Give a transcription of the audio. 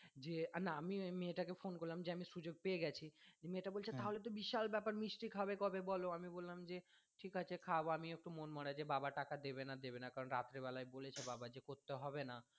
যে না আমি ওই মেয়ে টা কে phone করলাম যে আমি সুযোগ পেয়ে গেছি দিয়ে মেয়েটা বলছে তাহলে তো বিশাল ব্যাপার মিষ্টি খাওয়াবে কবে বলো আমি বললাম যে ঠিক আছে খাওয়াবো আমিও একটু মন মরা যে বাবা টাকা দেবে না দেবে না কারন রাত্রে বেলায় বলেছে বাবা যে করতে হবে না।